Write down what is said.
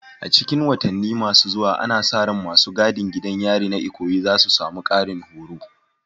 A cikin watanni masu zuwa, ana sa ran masu gadin gidan yarin na Ikoyi za su samu ƙarin horo.